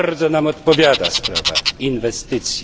Bardzo nam odpowiada sprawa inwestycji.